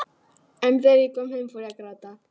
En þegar ég kom heim fór ég að gráta.